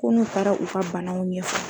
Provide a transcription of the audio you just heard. K'u n'u taara u ka banaw ɲɛfɔ